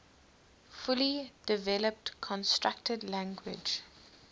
fully developed constructed language